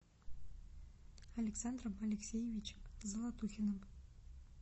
александром алексеевичем золотухиным